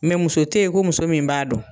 Mɛ muso tɛ yen ko muso min b'a dɔn.